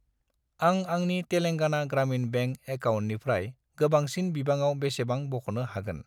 आं आंनि तेलांगाना ग्रामिन बेंक एकाउन्टनिफ्राय गोबांसिन बिबाङाव बेसेबां बख'नो हागोन?